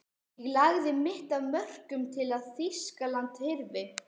Ég lagði mitt af mörkum til að Þýskaland hyrfi.